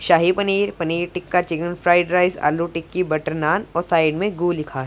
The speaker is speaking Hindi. शाही paneer paneer tikka chicken fried rice aloo tikki butter naan और साइड में गू लिखा--